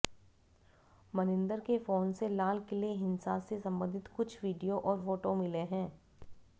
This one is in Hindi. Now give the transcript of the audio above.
मनिंदर के फोन से लाल किले हिंसा से संबंधित कुछ वीडियो और फोटो मिले हैं